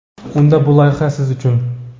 Unda bu loyiha siz uchun.